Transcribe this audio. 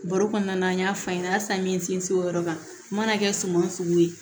Baro kɔnɔna na an y'a f'an ɲɛna halisa n ye n sinsin o yɔrɔ kan n mana kɛ suman sugu ye